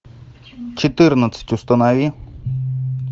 четырнадцать установи